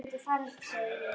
Ég mundi fara upp, sagði ég.